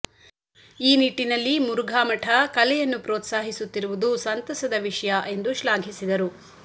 ಈ ನಿಟ್ಟಿನಲ್ಲಿ ಮುರುಘಾಮಠ ಕಲೆಯನ್ನು ಪ್ರೋತ್ಸಾಹಿ ಸುತ್ತಿರುವುದು ಸಂತಸದ ವಿಷಯ ಎಂದು ಶ್ಲಾಘಿಸಿದರು